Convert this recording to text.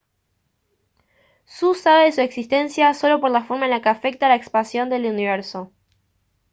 su sabe de su existencia solo por la forma en que afecta la expansión del universo